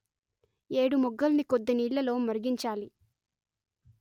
ఏడుమొగ్గల్ని కొద్దినీళ్లలో మరిగించాలి